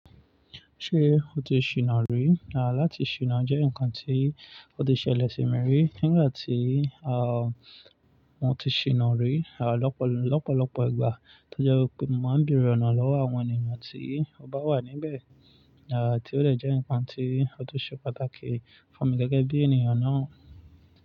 Ṣé o ti ṣìná rí? À láti ṣìná jẹ́ ǹkan tí ó ti ṣẹlẹ̀ sí mi rí. Nígbà tí a, mo ti ṣìná rí, à lọ́pọ̀lọ́pọ̀ ìgbà tó jẹ́ wipé mo máa ń bèrè ọ̀nà lọ́wọ́ àwọn ènìyàn tí ó bá wà níbẹ̀. À tí ó de jẹ́ ǹkan tí ó tun ṣe pàtàkì fún mi gẹ́gẹ́ bí ènìyàn náà.